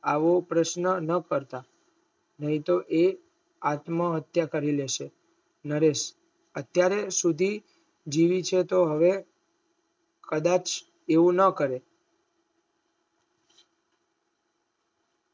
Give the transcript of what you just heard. આવો પ્રશ્નના ના કરતા નૈતો એ આત્મા હત્યા કરી લેશે નરેશ અત્ય સુધી જીવી છે તો હવે કદાચ એવું ના કરે